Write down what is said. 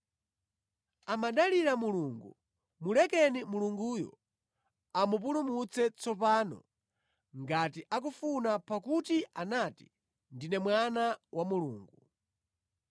Amadalira Mulungu, mulekeni Mulunguyo amupulumutse tsopano ngati akumufuna pakuti anati, ‘Ndine Mwana wa Mulungu.’ ”